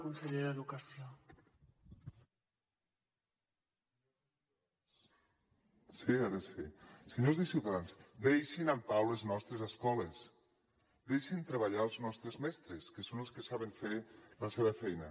senyors de ciutadans deixin en pau les nostres escoles deixin treballar els nostres mestres que són els que saben fer la seva feina